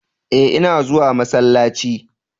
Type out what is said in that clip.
eh ina zuwa masallaci